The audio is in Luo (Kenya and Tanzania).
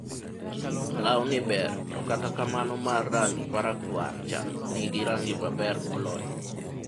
lawni ber, to kata kamano mar rangi marakwar cha nigi range maber moloyo